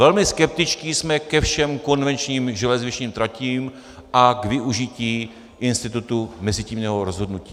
Velmi skeptičtí jsme ke všem konvenčním železničním tratím a k využití institutu mezitímního rozhodnutí.